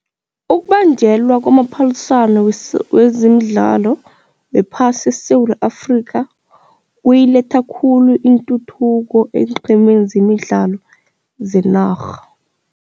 Ukubanjelwa kwamaphaliswano wezemidlalo wephasi eSewula Afrikha kuyiletha khulu intuthuko eenqhemeni zemidlalo zenarha.